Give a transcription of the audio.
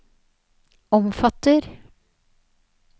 omfatter